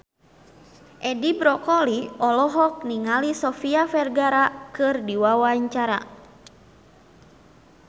Edi Brokoli olohok ningali Sofia Vergara keur diwawancara